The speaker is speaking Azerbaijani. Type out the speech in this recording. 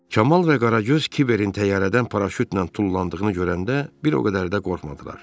Kamal və Qaragöz kiberin təyyarədən paraşütlə tullandığını görəndə bir o qədər də qorxmadılar.